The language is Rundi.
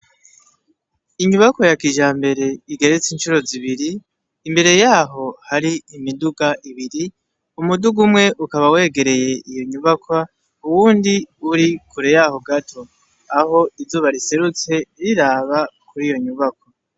Inyubakwa yakijambere igeretse incuro zibiri imbere yaho hari imiduga ibiri umuduga umwe ukaba wegereye iyonyubakwa uwundi uri kure yaho gato aho izuba riserutse riraba kuriyo nyubakwa